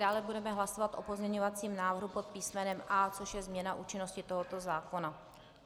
Dále budeme hlasovat o pozměňovacím návrhu pod písmenem A, což je změna účinnosti tohoto zákona.